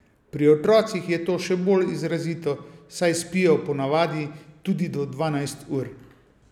Pri otrocih je to še bolj izrazito, saj spijo ponavadi tudi do dvanajst ur.